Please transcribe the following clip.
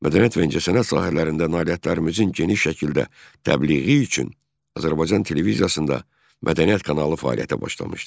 Mədəniyyət və incəsənət sahələrində nailiyyətlərimizin geniş şəkildə təbliği üçün Azərbaycan televiziyasında mədəniyyət kanalı fəaliyyətə başlamışdır.